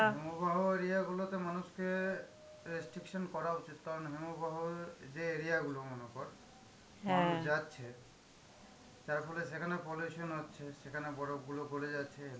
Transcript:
সমবাহ area গুলোতে মানুষকে restriction করা উচিত কারণ হিমবাহ যে area গুলো মনে কর যাচ্ছে যার ফলে সেখানে pollution হচ্ছে সেখানে বরফ গুলো গলে যাচ্ছে,